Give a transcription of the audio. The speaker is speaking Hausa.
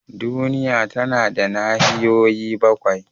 Duniya tana da nahiyoyi bakwai.